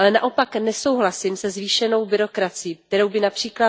Naopak nesouhlasím se zvýšenou byrokracií, kterou by např.